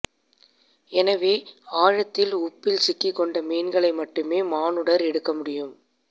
எனவே ஆழத்தில் உப்பில் சிக்கிக்கொண்ட மீன்களை மட்டுமே மானுடர் எடுக்கமுடியும்